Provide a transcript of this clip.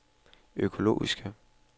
økologiske